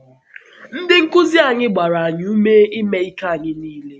Ndị nkuzi anyị gbara anyị ume ime ike anyị niile.